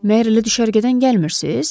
Məyər elə düşərgədən gəlmirsiniz?